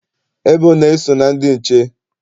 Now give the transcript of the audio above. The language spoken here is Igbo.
Ebona eso na ndị nche?